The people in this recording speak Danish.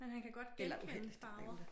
Men han kan godt genkende farver